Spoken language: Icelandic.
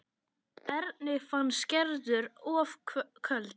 Erni fannst Gerður of köld.